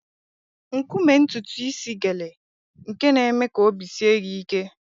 Nkume ntutu isi gele nke na-eme ka obi sie gị ike.